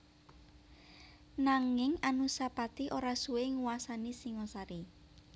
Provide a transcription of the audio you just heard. Nanging Anusapati ora suwé nguwasani Singasari